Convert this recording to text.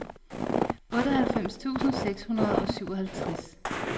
otteoghalvfems tusind seks hundrede og syvoghalvtreds